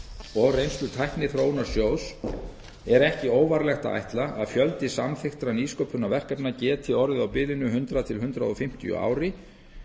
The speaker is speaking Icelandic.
og reynslu tækniþróunarsjóðs er ekki óvarlegt að ætla að fjöldi samþykktra nýsköpunarverkefna gæti orðið á bilinu hundrað til hundrað fimmtíu á ári